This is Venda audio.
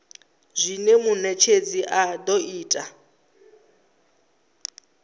zwine munetshedzi a do ita